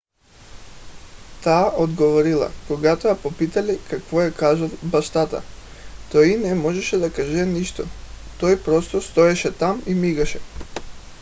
тя отговорила когато я попитали какво е казал бащата: той не можеше да каже нищо - той просто стоеше там и мигаше.